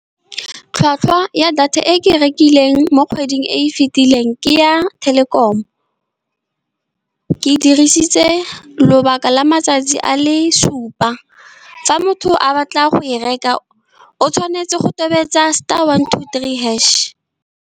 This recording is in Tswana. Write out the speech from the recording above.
Tlhwatlhwa ya data e ke e rekileng mo kgweding e e fitileng ke ya Telkom-o. Ke dirisitse lobaka la matsatsi a le supa, fa motho a batla go e reka, o tshwanetse go tobetsa star one two three hash.